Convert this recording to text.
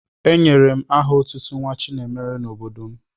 Enyere m aha otutu Nwachinemere n'obodo m.